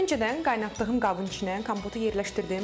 Öncədən qaynatdığım qabın içinə kompotu yerləşdirdim.